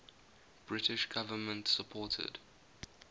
british government supported